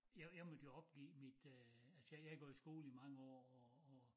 Jeg jeg måtte jo opgive mit øh altså jeg har gået i skole i mange år og og